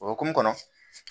O hokumu kɔnɔ